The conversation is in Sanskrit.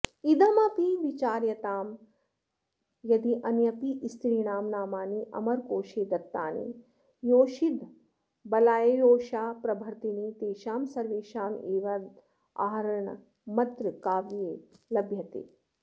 इदमपि विचार्यतां यद्यान्यपि स्त्रीणां नामानि अमरकोषे दत्तानि योषिदबलायोषाप्रभृतीनि तेषां सर्वेषामेवोदाहरणमत्र काव्ये लभ्यते